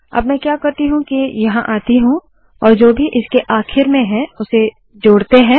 अब में क्या करती हूँ के यहाँ आती हूँ और जो भी इसके आखिर में है उसे जोड़ते है